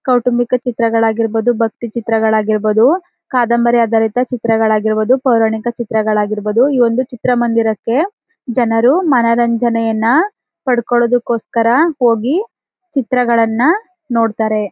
ಕೌಟುಂಬಿಕ ಚಿತ್ರಗಳಾಗಿರಬದು ಭಕ್ತಿ ಚಿತ್ರಗಳಾಗಿರಬದು ಕಾದಂಬರಿ ಆಧಾರಿತ ಚಿತ್ರಗಳಾಗಿರಬದು ಪೌರಾಣಿಕ ಚಿತ್ರಗಳಾಗಿರಬದು ಈ ಒಂದು ಚಿತ್ರಮಂದಿರಕ್ಕೆ ಜನರು ಮನರಂಜನೆಯನ್ನ ಪಡೆದುಕೊಳ್ಳುವುದಕ್ಕೋಸ್ಕರ ಹೋಗಿ ಚಿತ್ರಗಳನ್ನು ನೋಡುತ್ತಾರೆ.